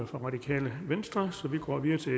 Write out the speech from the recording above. fra radikale venstre så vi går videre til